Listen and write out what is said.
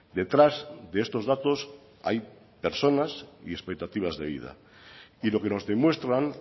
detrás de estos datos hay personas y expectativas de vida y lo que nos demuestran